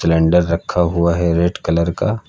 Calendar रखा हुआ है रेड कलर का।